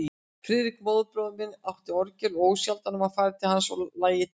Friðrik, móðurbróðir minn, átti orgel og ósjaldan var farið til hans og lagið tekið.